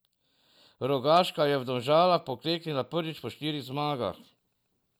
Rogaška je v Domžalah pokleknila prvič po štirih zmagah.